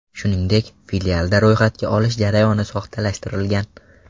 Shuningdek, filialda ro‘yxatga olish jarayoni soxtalashtirilgan.